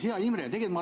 Hea Imre!